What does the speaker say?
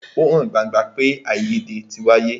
Ó hàn gbangba pé àìyédè tí wáyé.